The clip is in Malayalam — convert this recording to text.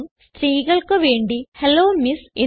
എന്നും സ്ത്രീകൾക്ക് വേണ്ടി ഹെല്ലോ എംഎസ്